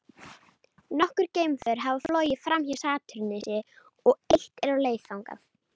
Nokkur geimför hafa flogið framhjá Satúrnusi og eitt er á leið þangað.